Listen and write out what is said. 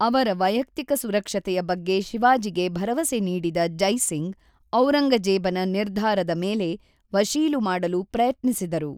ಅವರ ವೈಯಕ್ತಿಕ ಸುರಕ್ಷತೆಯ ಬಗ್ಗೆ ಶಿವಾಜಿಗೆ ಭರವಸೆ ನೀಡಿದ ಜೈ ಸಿಂಗ್, ಔರಂಗಜೇಬನ ನಿರ್ಧಾರದ ಮೇಲೆ ವಶೀಲು ಮಾಡಲು ಪ್ರಯತ್ನಿಸಿದರು.